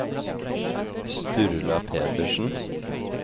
Sturla Pedersen